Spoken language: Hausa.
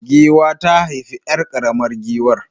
Giwa ta haifi 'yar karamar giwar